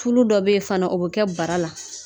Tulu dɔ be yen fana o bi kɛ bara la